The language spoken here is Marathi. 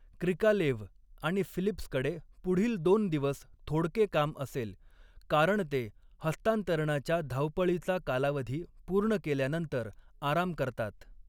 क्रिकालेव्ह आणि फिलिप्सकडे पुढील दोन दिवस थोडके काम असेल, कारण ते हस्तांतरणाच्या धावपळीचा कालावधी पूर्ण केल्यानंतर आराम करतात.